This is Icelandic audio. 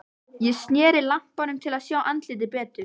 Ég sneri lampanum til að sjá andlitið betur.